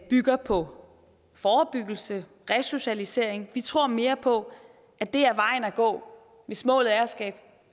bygger på forebyggelse og resocialisering vi tror mere på at det er vejen at gå hvis målet er at skabe